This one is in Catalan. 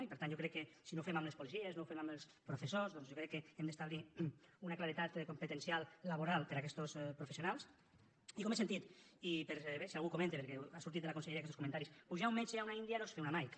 i per tant jo crec que si no ho fem amb els policies no ho fem amb els professors doncs jo crec que hem d’establir una claredat competencial laboral per a aquestos professionals i com he sentit i per si algú ho comenta perquè han sortit de la conselleria aquestos comentaris pujar un metge a una india no és fer una mike